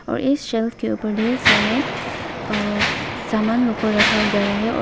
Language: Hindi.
और इस शेल्फ के ऊपर ढेर सारे सामान को रखा गया है और--